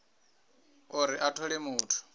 uri a thole muthu a